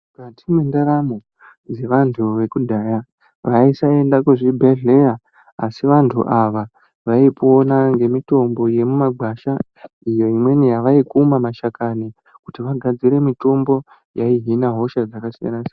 Mukati mwendaramo dzavantu vekudhaya vaisaenda kuzvibhedhlera asi vantu ava vaipona ngemitombo yemumagwasha iyo imweni yavaikuma mashakani kuti vagadzire mitombo yaihina hosha dzakasiyana siyana.